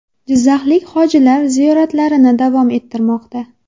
Jizzaxlik hojilar ziyoratlarini davom ettirmoqda.